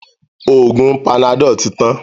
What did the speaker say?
Oògùn panadol tí tán.